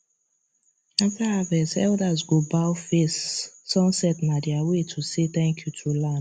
after harvest elders go bow face sunset na their way to say thank you to land